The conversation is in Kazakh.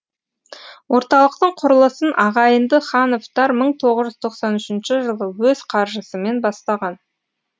орталықтың құрылысын ағайынды хановтар мың тоғыз жүз тоқсан үшінші жылы өз қаржысымен бастаған